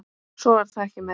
Svo var það ekki meira.